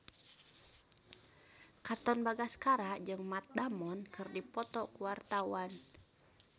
Katon Bagaskara jeung Matt Damon keur dipoto ku wartawan